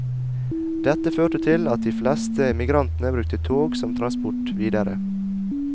Dette førte til at de fleste emigrantene brukte tog som transport videre.